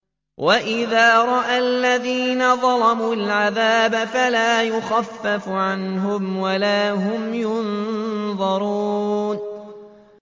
وَإِذَا رَأَى الَّذِينَ ظَلَمُوا الْعَذَابَ فَلَا يُخَفَّفُ عَنْهُمْ وَلَا هُمْ يُنظَرُونَ